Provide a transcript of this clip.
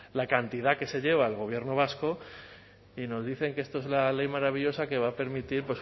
la cantidad que se lleva el gobierno vasco y nos dicen que esto es la ley maravillosa que va a permitir